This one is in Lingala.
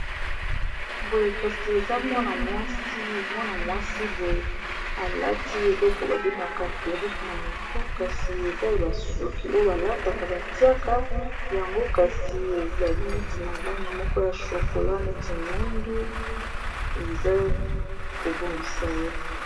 boye kasi eza mwana mwasi boye alati eloko babemaka perike na motu kasi eza basuki oyo balataka batiaka yango kasi ezali neti na lange moko ya chokola neti mwindu eza kobongisa ye